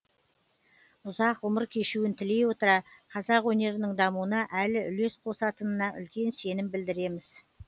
ұзақ ғұмыр кешуін тілей отыра қазақ өнерінің дамуына әлі үлес қосатынына үлкен сенім білдереміз